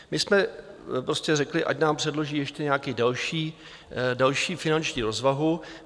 My jsme prostě řekli, ať nám předloží ještě nějakou další finanční rozvahu.